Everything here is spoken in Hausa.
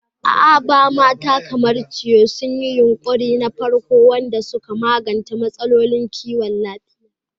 A Aba, mata kamar Chioma sun yi yunƙuri na farko waɗanda suka magance matsalolin kiwon lafiyar al'umma.